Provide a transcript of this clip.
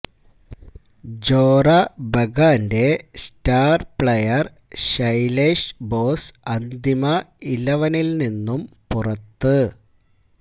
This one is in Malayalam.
ജോറ ബഗാന്റെ സ്റ്റാര് പ്ലെയര് ശൈലേഷ് ബോസ് അന്തിമ ഇലവനില് നിന്നും പുറത്ത്